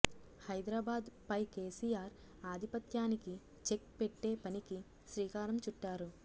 హైదరాబాద్ పై కేసిఆర్ ఆధిపత్యానికి చెక్ పెట్టే పనికి శ్రీకారం చుట్టారు